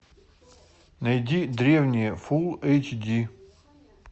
найди древние фулл эйч ди